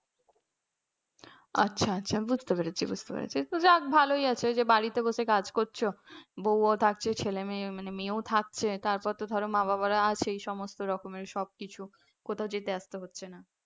আচ্ছা আচ্ছা বুঝতে পেরেছি বুঝতে পেরেছি যাক ভালই আছে বাড়িতে বসে কাজ করছ, বৌ ও থাকছে ছেলে মেয়ে মেয়েও থাকছে তারপর ধরো মা-বাবা আছেই সমস্ত রকমের সবকিছু, কোথাও যেতে আসতে হচ্ছে না।